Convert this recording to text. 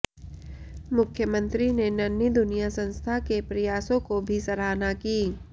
मुख्यमंत्री ने नन्ही दुनिया संस्था के प्रयासों को भी सराहना की